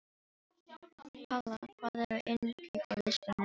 Kalla, hvað er á innkaupalistanum mínum?